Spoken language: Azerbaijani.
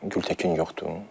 Gültəkin yoxdur.